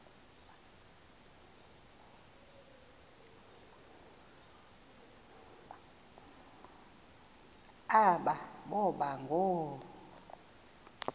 aba boba ngoo